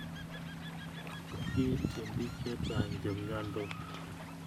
Kiitchin piik che chang' che miandos